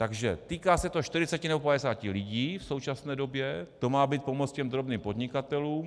Takže týká se to 40 nebo 50 lidí v současné době, to má být pomoc těm drobným podnikatelům.